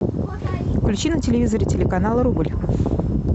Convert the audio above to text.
включи на телевизоре телеканал рубль